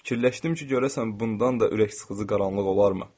Fikirləşdim ki, görəsən bundan da ürək sıxıcı qaranlıq olarmı?